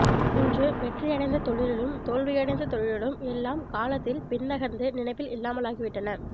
இன்று வெற்றியடைந்த தொழிலும் தோல்வியடைந்த தொழிலும் எல்லாம் காலத்தில் பின்னகர்ந்து நினைவில் இல்லாமலாகிவிட்டன